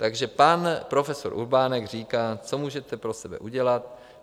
Takže pan profesor Urbánek říká: Co můžete pro sebe udělat?